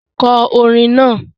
Kọ orin náà!